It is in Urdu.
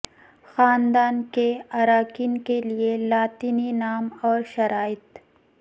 خاندان کے ارکان کے لئے لاطینی نام اور شرائط